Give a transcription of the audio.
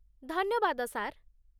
ଧନ୍ୟବାଦ, ସାର୍ ।